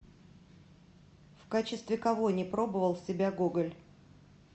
в качестве кого не пробовал себя гоголь